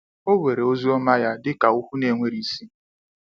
O were ozioma ya dịka okwu n'enweghi isi?